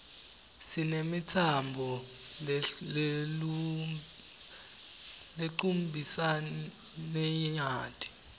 sinemitsamb lelcmbisaninyati